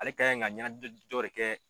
Ale kan ka ɲɛnajɔ jɔ de kɛ